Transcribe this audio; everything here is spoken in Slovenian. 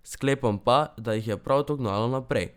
Sklepam pa, da jih je prav to gnalo naprej.